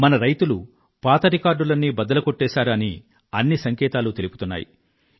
మన రైతులు పాత రికార్డులన్నీ బద్దలుకొట్టేశారు అని అన్ని సంకేతాలు తెలుపుతున్నాయి